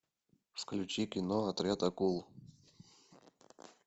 включи кино отряд акул